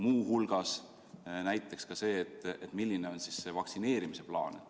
Muu hulgas huvitab mind näiteks ka see, milline on vaktsineerimise plaan.